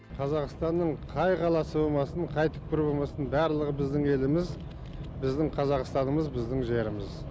қазақстанның қай қаласы болмасын қай түкпірі болмасын барлығы біздің еліміз біздің қазақстанымыз біздің жеріміз